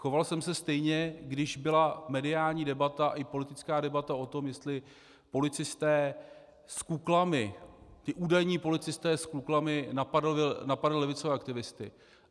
Choval jsem se stejně, když byla mediální debata i politická debata o tom, jestli policisté s kuklami, ti údajní policisté s kuklami, napadli levicové aktivisty.